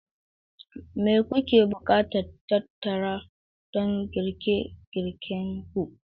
Me kuke buƙatar tattara don girke girkenku?